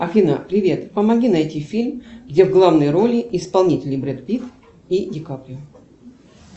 афина привет помоги найти фильм где в главной роли исполнители бред пит и дикаприо